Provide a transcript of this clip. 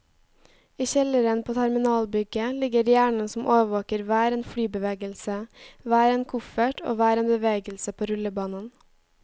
I kjelleren på terminalbygget ligger hjernen som overvåker hver en flybevegelse, hver en koffert og hver en bevegelse på rullebanen.